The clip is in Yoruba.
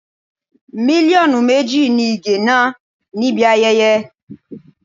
Mílíọ̀nù méjì ni Ige ná níbi ayẹyẹ.